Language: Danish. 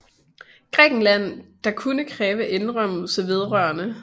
Grækenland der kunne kræve indrømmelser vedr